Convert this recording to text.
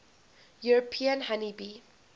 european honey bee